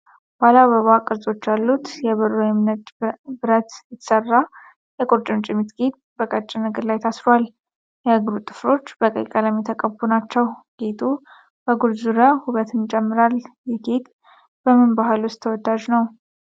ባለአበባ ቅርጾች ያሉት የብር ወይስ ነጭ ብረት የተሰራ የቁርጭምጭሚት ጌጥ በቀጭን እግር ላይ ታሰሯል። የእግሩ ጥፍሮች በቀይ ቀለም የተቀቡ ናቸው። ጌጡ በእግር ዙሪያ ውበትን ይጨምራል። ይህ ጌጥ በምን ባህል ውስጥ ተወዳጅ ነው?